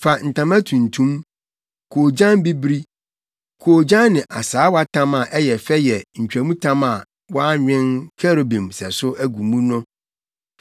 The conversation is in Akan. “Fa ntama tuntum, koogyan bibiri, koogyan ne asaawatam a ɛyɛ fɛ yɛ ntwamtam a wɔanwen kerubim sɛso agu mu no.